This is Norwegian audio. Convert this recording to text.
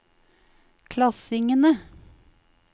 klassingene